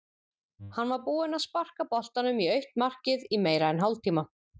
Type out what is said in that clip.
Hann var búinn að sparka boltanum í autt markið í meira en hálftíma.